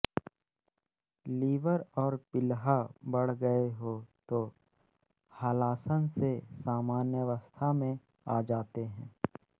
liver और प्लीहा बढ़ गए हो तो हलासन से सामान्यावस्था में आ जाते हैं